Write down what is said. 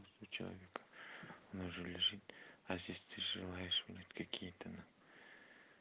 скучаю вика она же лежит а здесь ты желаешь меня какие-то на